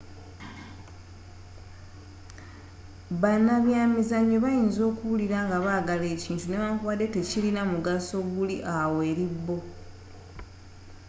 banabyamizzanyo bayinza okuwulira nga bagala ekintu newankubande tekilina mugaso guli awo eri bo